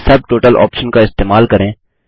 सब total option का इस्तेमाल करें